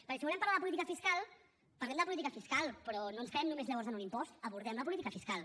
perquè si volem parlar de política fiscal parlem de política fiscal però no ens quedem només llavors en un impost abordem la política fiscal